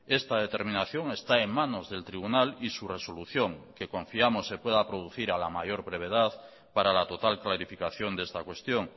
esta determinación está en manos del tribunal y su resolución que confiamos se pueda producir a la mayor brevedad para la total clarificación de esta cuestión